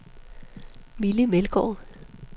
Mille Meldgaard